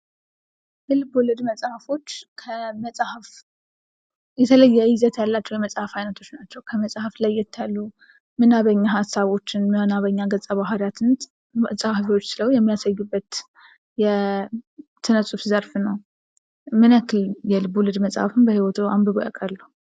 የልቦለድ መጽሀፎች ከመፅሀፍ የተለየ ይዘት ያላቸው መጽሃፍ አይነቶች ናቸው። ከመጽሐፍ ለየት ያሉ ምዕናብኛ ሀሳቦችን ምዕናበኛ ገጸ ባርያትን ፀሐፊዎች ስለው የሚያሳዩበት የስነ ሁፍ ዘርፍ ነው። ምን ያክል የልቦለድ መጽሐፍን በህይወቶ አንብበው ያውቃሉ?